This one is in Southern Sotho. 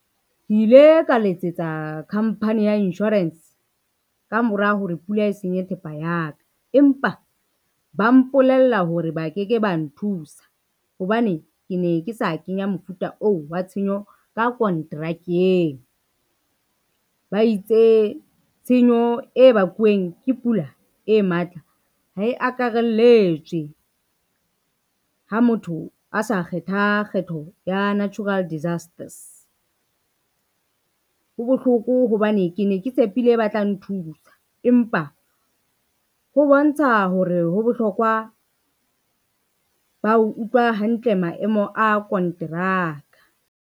Ke ile ka letsetsa company ya insurance, ka mora hore pula e senye thepa ya ka, empa ba mpolella hore ba ke ke ba nthusa hobane ke ne ke sa kenya mofuta oo wa tshenyo ka kontrakeng. Ba itse tshenyo e bakuweng ke pula e matla ha e akarelletswe, ha motho a sa kgetha kgetho ya natural disasters. Ho bohloko hobane ke ne ke tshepile ba tla nthusa, empa ho bontsha hore ho bohlokwa ba utlwa hantle maemo a konteraka.